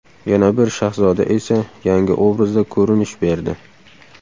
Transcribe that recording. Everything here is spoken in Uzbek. Yana bir Shahzoda esa yangi obrazda ko‘rinish berdi.